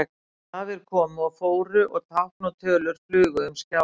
Stafir komu og fóru og tákn og tölur flugu um skjáinn.